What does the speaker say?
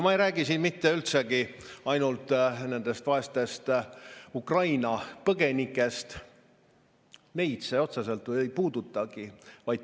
Ma ei räägi siin mitte üldsegi ainult nendest vaestest Ukraina põgenikest, neid see otseselt ei puudutagi.